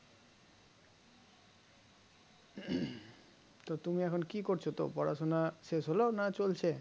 তো তুমি এখন কি করছো তো পড়াশোনা শেষ হলো না চলছে